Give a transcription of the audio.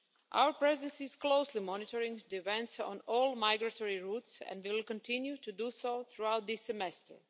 Our Presidency is closely monitoring events on all migratory routes and will continue to do so throughout this semester.